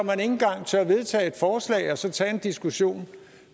engang tør vedtage et forslag og så tage en diskussion